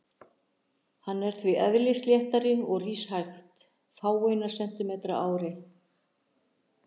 Hann er því eðlisléttari og rís hægt, fáeina sentímetra á ári.